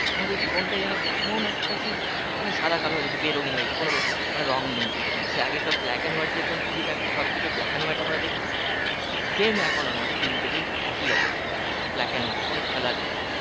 আমাদের জীবনটা যেন কেমন একটা সেই মানে সাদা কালো হয়েগেছে বেরঙিন হয়েগেছে কোন মানে রং নেই এই খানে সেই আগেকার black and white যেরকম TV থাকতো সব কিছু black and white আমরা দেখতাম same এখন আমাদের দিনকে দিন একই অবস্থা black and white কোন colour নেই